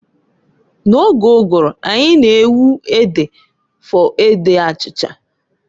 N'oge ụgụrụ anyị na-ewu ede for ede achicha.